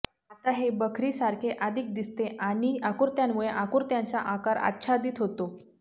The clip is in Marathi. आता हे बखरीसारखे अधिक दिसते आणि आकृत्यांमुळे आकृत्यांचा आकार आच्छादित होतो